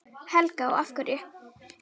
Helga: Og af hverju?